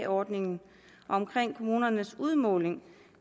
ordningen og om kommunernes udmåling